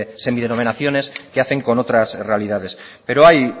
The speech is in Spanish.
semidenominaciones que hacen con otras realidades pero hay